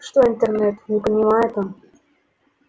что интернет не понимает он